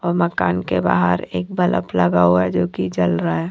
मकान के बाहर एक बलफ लगा हुआ है जोकि जल रहा है।